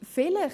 Vielleicht.